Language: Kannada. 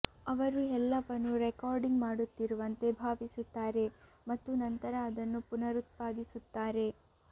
ಅವರು ಎಲ್ಲವನ್ನೂ ರೆಕಾರ್ಡಿಂಗ್ ಮಾಡುತ್ತಿರುವಂತೆ ಭಾವಿಸುತ್ತಾರೆ ಮತ್ತು ನಂತರ ಅದನ್ನು ಪುನರುತ್ಪಾದಿಸುತ್ತಾರೆ